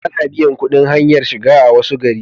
Ana biyan kudin hanyar shiga a wasu gari